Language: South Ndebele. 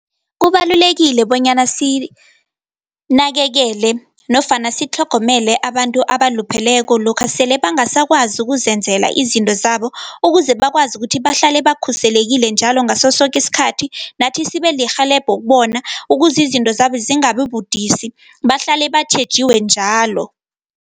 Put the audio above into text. Kubalulekile bonyana sinakekele nofana sitlhogomele abantu abalupheleko, lokha sele bangasakwazi ukuzenzela izinto zabo, ukuze bakwazi ukuthi bahlale bakhuselekile njalo ngasosoke isikhathi, nathi sibelirhelebho kubona ukuze izinto zabo zingabibudisi, bahlale batjhejiwe njalo.